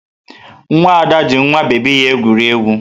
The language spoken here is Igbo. Nwa Ada ji nwa bebi ya egwuri egwu.